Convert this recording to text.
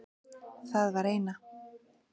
Það var eina.